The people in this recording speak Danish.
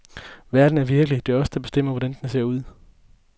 Verden er virkelig, det er os, der bestemmer, hvordan den ser ud.